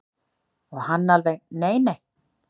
Og hann alveg nei nei.